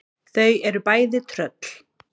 Þau eru bæði tröll.